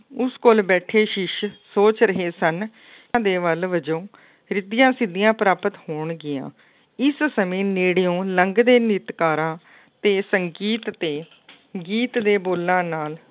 ਉਸ ਕੋਲੋ ਬੈਠੇ ਸ਼ਿਸ਼ ਸੋਚ ਰਹੇ ਸਨ ਦੇ ਵੱਲ ਵਜੋਂ ਰਿੱਧੀਆ ਸਿੱਧੀਆਂ ਪ੍ਰਾਪਤ ਹੋਣਗੀਆਂ, ਇਸ ਸਮੇਂ ਨੇੜਿਉਂ ਲੰਘਦੇ ਨ੍ਰਿਤਕਾਰਾਂ ਅਤੇ ਸੰਗੀਤ ਤੇ ਗੀਤ ਦੇ ਬੋਲਾਂ ਨਾਲ